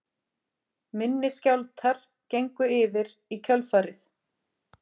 Minni skjálftar gengu yfir í kjölfarið